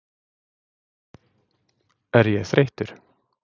Er ég þreyttur?